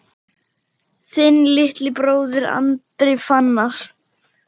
Þinn litli bróðir, Andri Fannar.